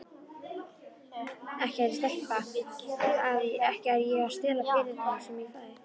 Ekki er ég að stela peningunum sem ég fæ.